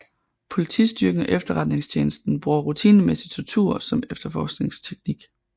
Politistyrken og efterretningstjenesten bruger rutinemæssig tortur som efterforskningsteknik